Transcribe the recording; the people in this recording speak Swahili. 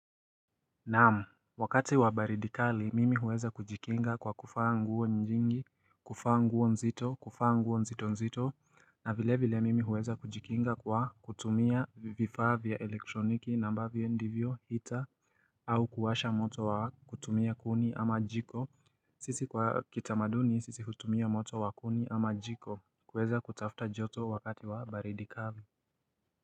Naam, wakati wa baridi kali, mimi huweza kujikinga kwa kuvaa nguo nyingi, kuvaa nguo nzito, kuvaa nguo nzito nzito, na vile vile mimi huweza kujikinga kwa kutumia vifaa vya elektroniki na ambavyo ndivyo hita, au kuwasha moto wa kutumia kuni ama jiko, sisi kwa kitamaduni sisi hutumia moto wa kuni ama jiko, kuweza kutafuta joto wakati wa baridi kali.